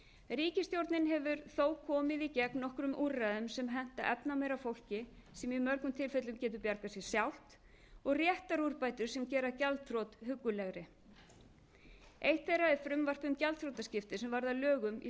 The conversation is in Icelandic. ríkisstjórnin hefur þó komið í gegn nokkrum úrræðum sem henta efnameira fólki sem í mörgum tilfellum getur bjargað sér sjálft og réttarúrbótum sem gera gjaldþrot huggulegri eitt þeirra er frumvarp um gjaldþrotaskipti sem varð að lögum í